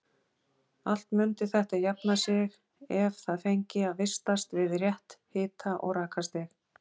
Allt mundi þetta jafna sig ef það fengi að vistast við rétt hita- og rakastig.